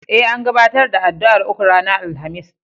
E, an gabatar da addu'ar uku ranar Alhamis.